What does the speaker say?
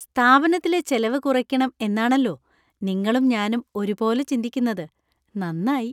സ്ഥാപനത്തിലെ ചെലവ് കുറയ്ക്കണം എന്നാണല്ലോ നിങ്ങളും ഞാനും ഒരുപോലെ ചിന്തിക്കുന്നത്. നന്നായി.